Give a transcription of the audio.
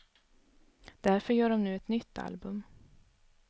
Därför gör de nu ett nytt album.